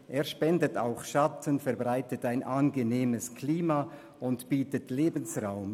Er spendet auch Schatten, verbreitet ein angenehmes Klima und bietet Lebensraum.